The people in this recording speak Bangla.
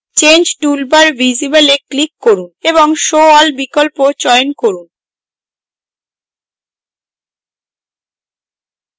change toolbar visible এ click করুন এবং show all বিকল্প চয়ন করুন